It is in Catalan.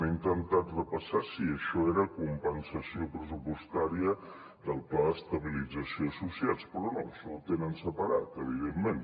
he intentat repassar si això era compensació pressupostària del pla d’estabilització d’associats però no això ho tenen separat evidentment